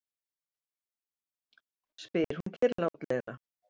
spyr hún kyrrlátlega.